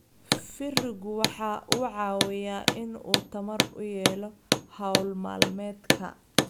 Firigu waxa uu caawiyaa in uu tamar u helo hawl maalmeedka.